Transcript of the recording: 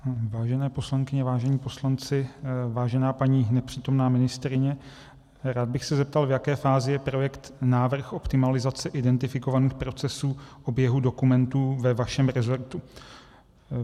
Vážené poslankyně, vážení poslanci, vážená paní nepřítomná ministryně, rád bych se zeptal, v jaké fázi je projekt Návrh optimalizace identifikovaných procesů oběhu dokumentů ve vašem rezortu.